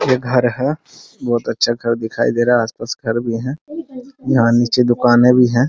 ये घर है बहुत अच्छा घर दिखाई दे रहा है | आस-पास घर भी है | यहाँ नीचे दुकाने भी है ।